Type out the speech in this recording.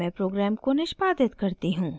अब मैं प्रोग्राम को निष्पादित करती हूँ